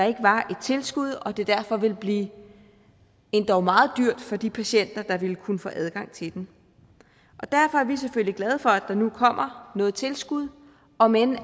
ikke var et tilskud og at det derfor ville blive endog meget dyrt for de patienter der ville kunne få adgang til den derfor er vi selvfølgelig glade for at der nu kommer noget tilskud om end